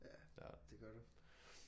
Ja det gør du